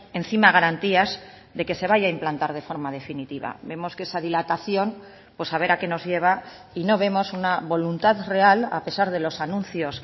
encima garantías de que se vaya a implantar de forma definitiva vemos que esa dilatación pues a ver a qué nos lleva y no vemos una voluntad real a pesar de los anuncios